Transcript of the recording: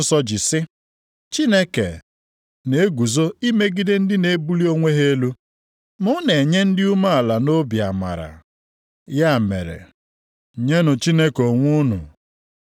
Ma ọ na-enye anyị amara karịa. Ya mere, Akwụkwọ nsọ ji sị, “Chineke na-eguzo imegide ndị na-ebuli onwe ha elu, ma ọ na-enye ndị dị umeala nʼobi amara.” + 4:6 \+xt Ilu 3:34\+xt*